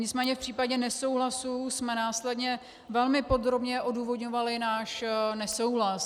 Nicméně v případě nesouhlasu jsme následně velmi podrobně odůvodňovali náš nesouhlas.